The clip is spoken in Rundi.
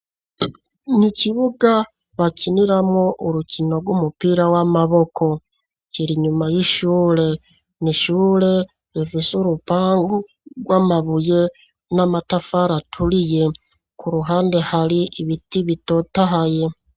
Ni ikibuga bakiniramwo, urukino rw'umupira w'amaboko; kiri inyuma y'ishure; ni ishure, rifise urupangu rw'amabuye, n'amatafari aturiye, ku ruhande, hari ibiti bitotahaye.